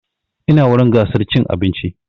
Ina wurin gasar cin abinci